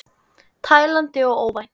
Tælandi og óvænt.